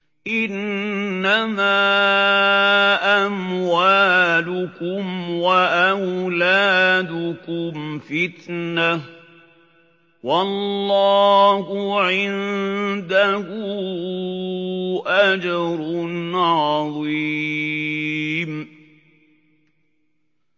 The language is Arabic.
إِنَّمَا أَمْوَالُكُمْ وَأَوْلَادُكُمْ فِتْنَةٌ ۚ وَاللَّهُ عِندَهُ أَجْرٌ عَظِيمٌ